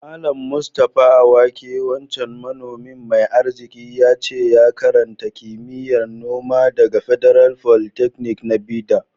Mallam Mustapha awake wancan manomi mai arziki, yace ya karanta kimiyya'n noma daga Federal Polytechnic na Bida.